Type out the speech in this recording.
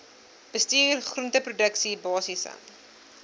bestuur groenteproduksie basiese